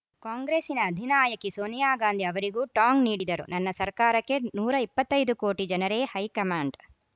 ಕಾಂಗ್ರೆಸ್ಸಿನ ಅಧಿನಾಯಕಿ ಸೋನಿಯಾ ಗಾಂಧಿ ಅವರಿಗೂ ಟಾಂಗ್‌ ನೀಡಿದರು ನನ್ನ ಸರ್ಕಾರಕ್ಕೆ ನೂರ ಇಪ್ಪತ್ತ್ ಐದು ಕೋಟಿ ಜನರೇ ಹೈಕಮಾಂಡ್‌